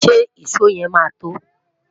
ṣé ìsọ yen má to?